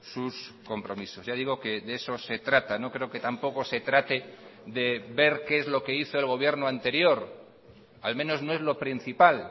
sus compromisos ya digo que de eso se trata no creo que tampoco se trate de ver qué es lo que hizo el gobierno anterior al menos no es lo principal